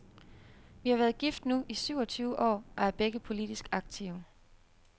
Vi har været gift nu i syvogtyve år og er begge politisk aktive.